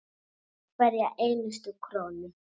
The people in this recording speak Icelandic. Hverja einustu krónu.